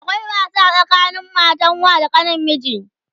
akwai wasa tsakanin matan wa da kanin miji